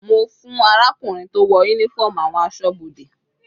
Mo fún arákùnrin tó wọ uniform àwọn asọ́bodè.